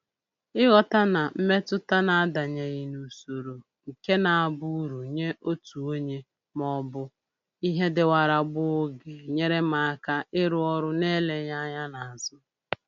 Ịghọta na mmetụta na-adanyeghị n'usoro nke na-abụ uru nye otu onye maọbụ bụ ihe dịwara gboo ga-enyere m aka ịrụ ọrụ na-eleghị anya n'azụ